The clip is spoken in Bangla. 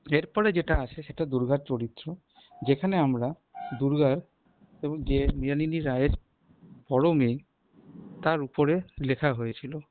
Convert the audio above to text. এরপর যেটা আসে সেটা দুর্গা চরিত্র যেখানে আমরা দূর্গার এবং যে মৃনালী রায়ের পরমে তার ওপরে লেখা হয়েছিল